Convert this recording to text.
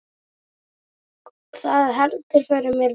Það heldur fyrir mér vöku.